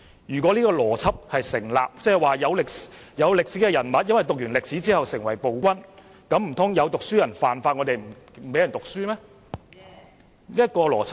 如果這邏輯成立，即有歷史人物因為讀過歷史而成為暴君，那麼難道有讀書人犯了法，我們便不讓人讀書嗎？